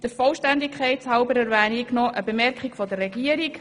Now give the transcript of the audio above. Der Vollständigkeit halber erwähne ich noch eine Bemerkung der Regierung.